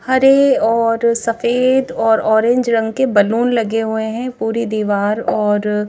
हरे और सफेद और ऑरेंज रंग के बलून लगे हुए हैं पूरी दीवार और--